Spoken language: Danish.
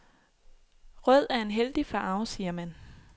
Rød er en heldig farve, siger man.